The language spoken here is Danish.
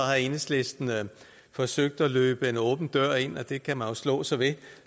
enhedslisten har forsøgt at løbe en åben dør ind det kan man slå sig ved